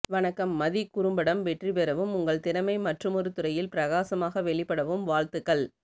வணக்கம் மதி குறும்படம் வெற்றிபெறவும் உங்கள் திறமை மற்றுமொருதுறையில் பிரகாசமாக வெளிப்படவும் வாழ்த்துக்கள்